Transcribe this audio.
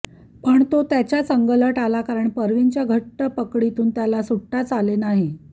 पण तो त्याच्याच अंगलट आला कारण परवीनच्या घट्ट पकडीतून त्याला सुटताच आले नाही